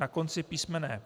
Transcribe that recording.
Na konci písm.